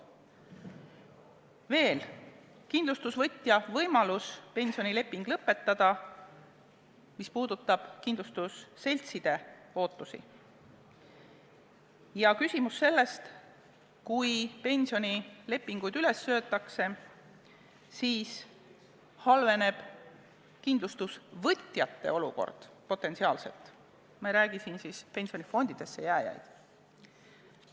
Veel, kindlustusvõtja võimalus pensionileping lõpetada – see puudutab kindlustusseltside ootusi ja küsimus on selles, et kui pensionilepingud üles öeldakse, siis halveneb kindlustusvõtjate olukord potentsiaalselt, ma ei räägi siin pensionifondidesse jääjatest.